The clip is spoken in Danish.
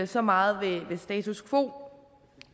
så meget ved status quo